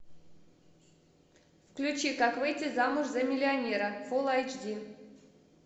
включи как выйти замуж за миллионера фулл эйч ди